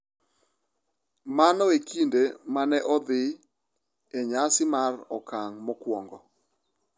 Mano e kinde ma ne odhi e nyasi mar okang’ mokwongo.